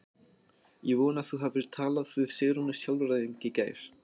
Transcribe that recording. Ég vona að þú hafir talað við Sigrúnu sálfræðing í gær.